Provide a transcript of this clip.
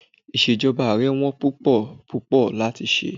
Ìṣèjọba Ààrẹ wón púpọ̀ púpọ̀ láti ṣe.